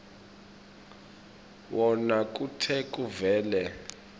wona kute kuvele